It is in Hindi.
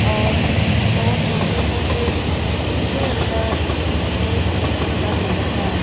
और दो छोटे सोफे उनके अंदर एक छोटा टेबल है।